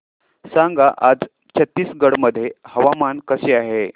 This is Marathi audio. सांगा आज छत्तीसगड मध्ये हवामान कसे आहे